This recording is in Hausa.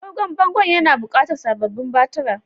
Agogon bangon yana buƙatar sababbin batira